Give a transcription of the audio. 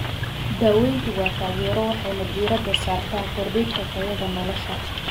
Daaweyntu waa taageero waxayna diiradda saartaa kordhinta tayada nolosha.